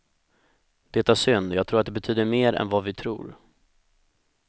Det är synd, jag tror att det betyder mer än vad vi tror.